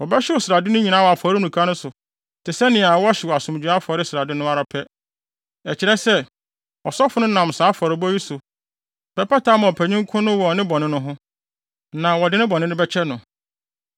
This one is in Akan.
Wɔbɛhyew srade no nyinaa wɔ afɔremuka no so te sɛ nea wɔhyew asomdwoe afɔre srade no ara pɛ; ɛkyerɛ sɛ, ɔsɔfo no nam saa afɔrebɔ yi so bɛpata ama ɔpanyin ko no wɔ ne bɔne no ho; na wɔde ne bɔne no bɛkyɛ no.